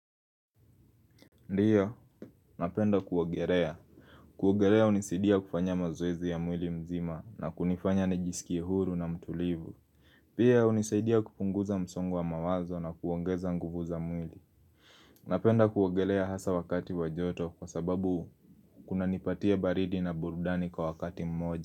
Ndiyo, napenda kuogelea. Kuogelea hunisaidia kufanya mazoezi ya mwili mzima na kunifanya nijisikie huru na mtulivu. Pia hunisidia kupunguza msongo wa mawazo na kuongeza nguvu za mwili. Napenda kuogelea hasa wakati wajoto kwa sababu kunanipatia baridi na burudani kwa wakati mmoja.